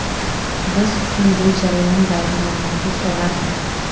Biz uchun bu jarayon bayramona tus olardi.